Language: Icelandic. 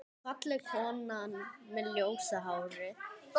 Fallega konan með ljósa hárið.